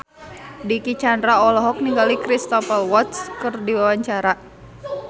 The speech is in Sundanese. Dicky Chandra olohok ningali Cristhoper Waltz keur diwawancara